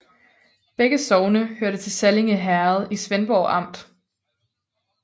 Begge sogne hørte til Sallinge Herred i Svendborg Amt